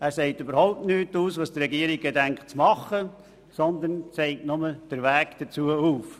Er sagt überhaupt nichts darüber aus, was die Regierung zu tun gedenkt, sondern zeigt nur den Weg dazu auf.